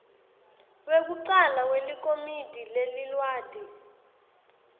wekucala welikomidi leliwadi